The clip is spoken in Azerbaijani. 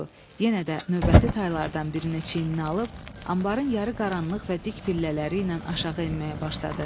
Budur, yenə də növbəti taylardan birini çiyninə alıb, anbarın yarı qaranlıq və dik pillələri ilə aşağı enməyə başladı.